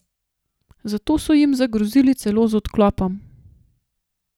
Zato so jim zagrozili celo z odklopom.